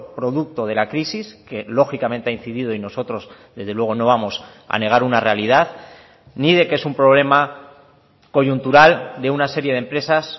producto de la crisis que lógicamente ha incidido y nosotros desde luego no vamos a negar una realidad ni de que es un problema coyuntural de una serie de empresas